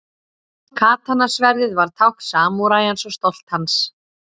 Katana-sverðið var tákn samúræjans og stolt hans.